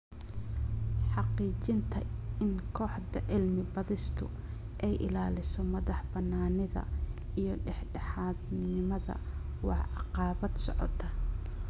Xaqiijinta in kooxda cilmi-baadhistu ay ilaaliso madaxbannaanida iyo dhexdhexaadnimada waa caqabad socota.